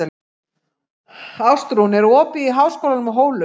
Ásrún, er opið í Háskólanum á Hólum?